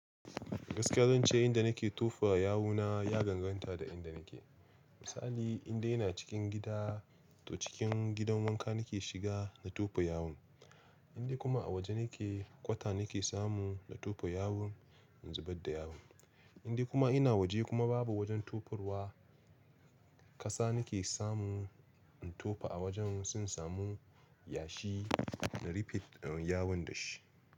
Gaskiya zan ce inda nake tofa yawuna ya ganganta da inda nake. Misali indai ina cikin gida to cikin gidan wanka nake shiga na tofa yawun indai kuma a waje nake, kwata nake samu na tofa yawun in zubar da yawun. Indai kuma ina waje kuma babu wajen tofarwa, ƙasa nake samu in tofa a wajen, sun samu yashi na rufe yawun da shi.